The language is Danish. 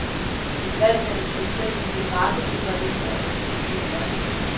Et valg mellem selvstændighed, markedsliberalisme og den gyldne middelvej.